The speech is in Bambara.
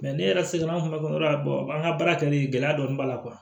ne yɛrɛ se la an kun yɔrɔ la an ka baara kɛ nin gɛlɛya dɔɔni b'a la